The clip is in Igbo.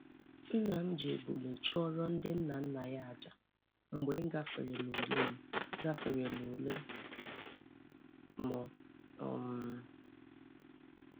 Nna m ji ebule chụọrọ ndị nnanna ya aja mgbe m gafere n'ule m gafere n'ule m um